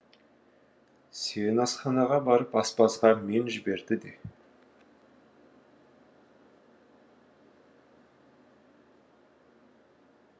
сен асханаға барып аспазға мен жіберді де